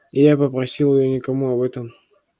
и я попросил её никому об этом